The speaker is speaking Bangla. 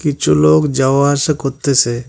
কিছু লোক যাওয়া আসা করতেসে।